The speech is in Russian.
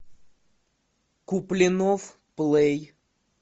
куплинов плей